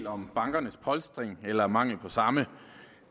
om bankernes polstring eller mangel på samme